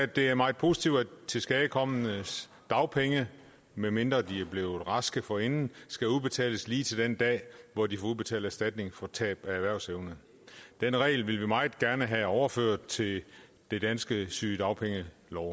det er meget positivt at tilskadekomnes dagpenge medmindre de tilskadekomne er blevet raske forinden skal udbetales lige til den dag hvor de får udbetalt erstatning for tab af erhvervsevne den regel vil vi meget gerne have overført til den danske sygedagpengelov